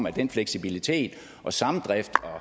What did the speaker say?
at den fleksibilitet og samdrift og